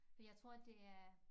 For jeg tror det er